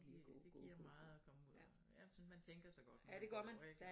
Det det giver meget at komme ud og jeg synes man tænker så godt når man går ik